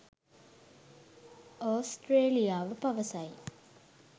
ඔස්ට්‍රේලියාව පවසයි